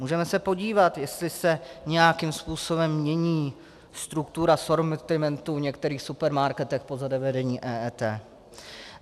Můžeme se podívat, jestli se nějakým způsobem mění struktura sortimentu v některých supermarketech po zavedení EET.